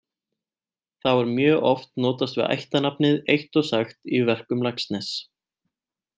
Þá er mjög oft notast við ættarnafnið eitt og sagt í verkum Laxness.